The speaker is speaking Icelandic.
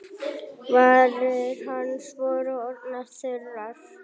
Varir hans voru orðnar þurrar.